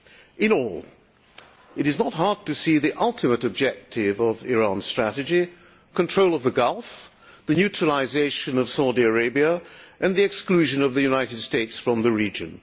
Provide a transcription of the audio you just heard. In all it is not hard to see the ultimate objective of Iran's strategy control of the Gulf, the neutralisation of Saudi Arabia and the exclusion of the United States from the region.